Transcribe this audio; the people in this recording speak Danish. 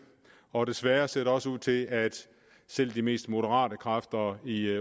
og desværre ser det også ud til at selv de mest moderate kræfter i